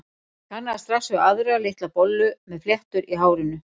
Ég kannaðist strax við aðra, litla bollu með fléttur í hárinu.